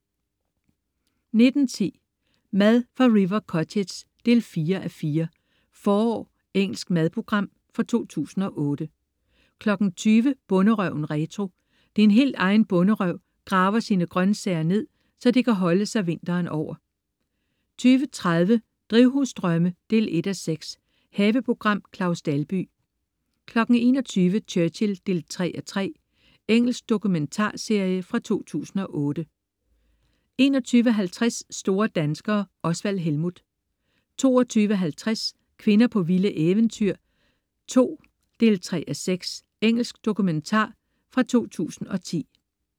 19.10 Mad fra River Cottage 4:4. "Forår". Engelsk madprogram fra 2008 20.00 Bonderøven retro. Din helt egen bonderøv graver sine grøntsager ned, så de kan holde sig vinteren over 20.30 Drivhusdrømme 1:6. Haveprogram. Claus Dalby 21.00 Churchill 3:3. Engelsk dokumentarserie fra 2008 21.50 Store danskere. Osvald Helmuth 22.50 Kvinder på vilde eventyr 2. 3:6. Engelsk dokumentar fra 2010